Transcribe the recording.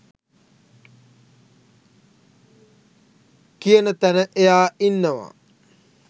කියන තැන එයා ඉන්නවා.